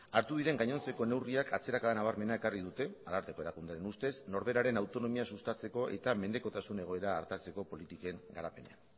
hartu diren gainontzeko neurriak atzerakada nabarmena ekarri dute ararteko erakundeari ustez norberaren autonomia sustatzeko eta mendekotasun egoera artatzeko politiken garapenean